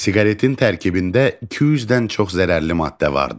Siqaretin tərkibində 200-dən çox zərərli maddə vardı.